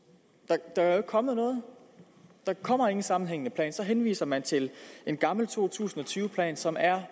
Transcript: der er kommet noget der kommer ikke en sammenhængende plan så henviser man til en gammel to tusind og tyve plan som er